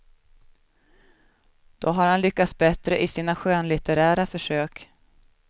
Då har han lyckats bättre i sina skönlitterära försök.